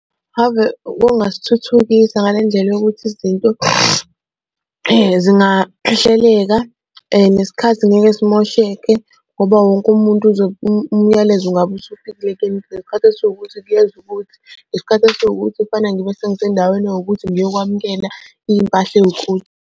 Okungasithuthukisa ngale ndlela yokuthi izinto zingahleleka nesikhathi ngeke simosheke ngoba wonke umuntu umyalezo ngabe usufikile kuyena ukuthi ngesikhathi esiwukuthi kuyeza ukuthi, ngesikhathi esiwukuthi kufanele ngibe sengisendaweni ewukuthi ngiyokwamukela impahla ewukuthi.